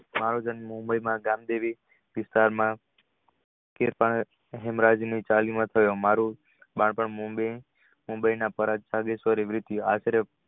મારો જન્મ mumbai ગામદેવી માં થયો મારુ બાળપણ mumbai આશરે